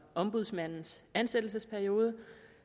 ombudsmandens ansættelsesperiode